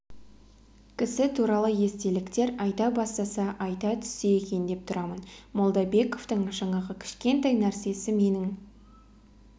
кісі туралы естеліктер айта бастаса айта түссе екен деп тұрамын молдабековтың жаңағы кішкентай нәрсесі менің